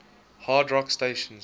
hard rock stations